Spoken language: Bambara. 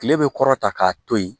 Kile bɛ kɔrɔta k'a to yen